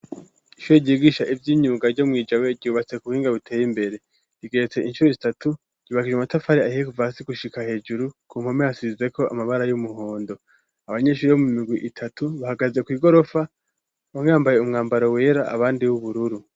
Ishure ryigisha ivy'imyunga ryo mw'i Jabe, ryubatse kubuhinga buteye imbere, rigeretse incuro zitatu, ryubakishijwe amatafari ahiye kuva hasi gushika hejuru, ku mpome hasizeko amabara y'umuhondo, abanyeshuri bo mu migwi itatu bahagaze kw'igorofa, bamwe bambaye umwambaro wera, abandi uw'ubururu.